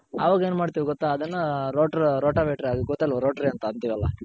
ಅವಾಗ್ ಏನ್ ಮಾಡ್ತಿವ್ ಗೊತ್ತ ಅದನ್ನ rotri ರೋಟ ವೇಟರ್ ಗೊತ್ತಲ್ವ rotri ಅಂತ ಅಂತಿವಲ್ಲ